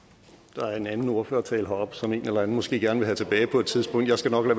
der er en anden ordførertale heroppe som en eller anden måske gerne vil have tilbage på et tidspunkt jeg skal nok